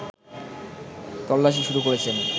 তল্লাশি শুরু করেছেন